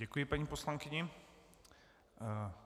Děkuji paní poslankyni.